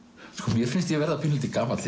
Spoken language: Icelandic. mér finnst ég verða pínulítill gamall